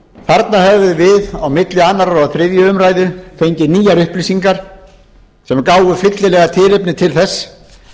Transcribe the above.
þarna hefðum við á milli annarrar og þriðju umræðu fengið nýjar upplýsingar sem gáfu fyllilega tilefni til þess